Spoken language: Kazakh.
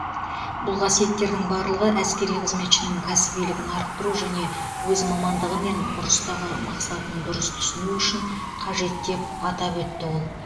бұл қасиеттердің барлығы әскери қызметшінің кәсібилігін арттыру және өз мамандығы мен ұрыстағы мақсатын дұрыс түсіну үшін қажет деп атап өтті ол